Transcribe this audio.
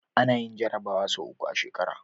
Anayin jarabawa sau uku a shekara